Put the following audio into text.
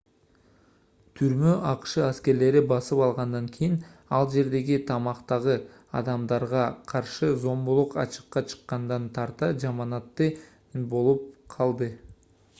түрмө акш аскерлери басып алгандан кийин ал жердеги камактагы адамдарга каршы зомбулук ачыкка чыккандан тарта жаманатты болуп калды